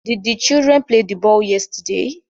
Did the children play the ball yesterday